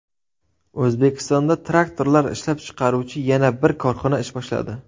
O‘zbekistonda traktorlar ishlab chiqaruvchi yana bir korxona ish boshladi.